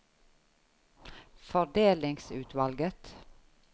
fordelingsutvalget